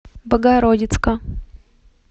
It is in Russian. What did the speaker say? богородицка